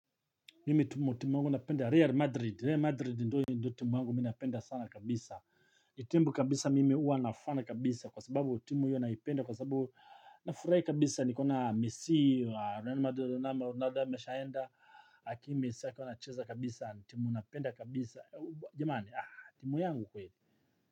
Mimi timu yangu napenda real madrid real madrid ndiyo timu yangu mimi napenda sana kabisa ni timu kabisa mimi hua nafana kabisa kwa sababu timu hiyo naipenda kwa sababu nafurahi kabisa nikiona mesi wanafure kabisa nikona mesi wanafure kabisa timu napenda kabisa jamani ah timu yangu kweli.